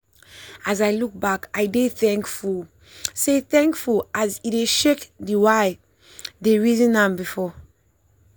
as i look back i dey thankful say thankful say e shake d wayi dey reason am before.